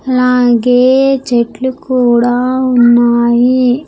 అలాగే చెట్లు కూడా ఉన్నాయి.